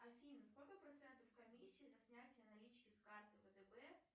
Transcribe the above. афина сколько процентов комиссия за снятие налички с карты втб